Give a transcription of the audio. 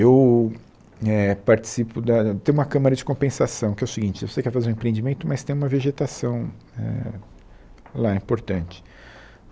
Eu eh participo da... tem uma câmara de compensação, que é o seguinte, você quer fazer um empreendimento, mas tem uma vegetação eh lá importante.